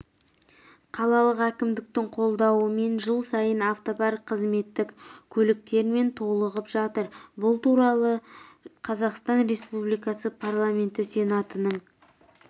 қалалық әкімдіктің қолдауымен жыл сайын автопарк қызметтік көліктермен толығып жатыр бұл туралы қазақстан республикасы парламенті сенатының